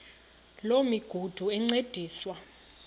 loo migudu encediswa